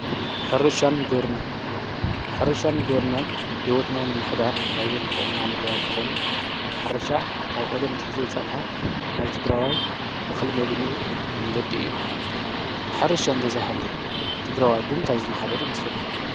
ሕርሻን ግብርናን፡- ሕርሻን ግብርናን ሕይወትና ንምምሕዳር ካብዞም ዝጠቕሙና ነገራት እንተኾኑ ሕርሻ ካብ ቐደም ኣትሒዙ ዝፀንሐ ናይ ትግራዋይ እኽሊ መግነይኡ መንገዲ እዩ፡፡ ሕርሻ እንተዘይሃልዩ ትግራዋይ ብምንታይ ዝመሓደር ይምስለኩም?